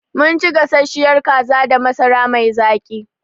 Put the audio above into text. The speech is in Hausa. Mun ci gasasshiyar kaza da masara mai zaƙi.